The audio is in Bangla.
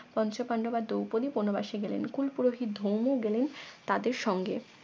পঞ্চপান্ডব আর দৌপদি বনবাসী গেলেন কুলপুরোহিত ধৌম গেলেন তাদের সঙ্গে